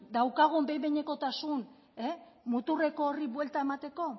daukagun behin behinekotasun muturreko horri buelta emateko